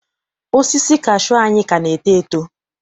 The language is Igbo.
Osisi kashuu anyị ka na-eto eto.